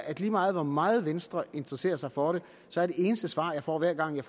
at lige meget hvor meget venstre interesserer sig for det så er det eneste svar jeg får hver gang jeg